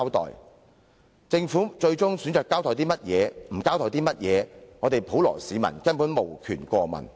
然而，政府最終選擇交代甚麼，不交代甚麼，普羅市民根本無權過問。